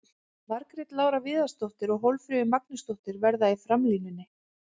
Margrét Lára Viðarsdóttir og Hólmfríður Magnúsdóttir verða í framlínunni.